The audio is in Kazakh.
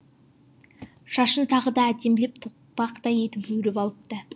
шашын тағы да әдемілеп тоқпақтай етіп өріп алыпты